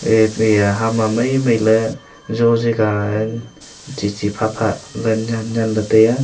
eya ham ma mai mai ley jow Jai ka chi chi pha pha le nen nen ley taiya.